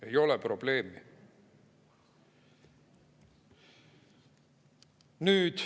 Ei ole probleemi.